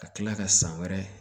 Ka kila ka san wɛrɛ